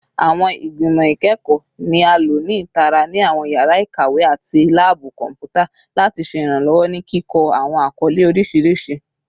Awọn igbimọ ikẹkọ ni a lo ni itara ni awọn yara ikawe ati laabu kọnputa lati ṣe iranlọwọ ni kikọ awọn akọle oriṣiriṣi